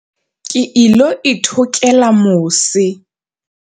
Ke ilo ithokela mose.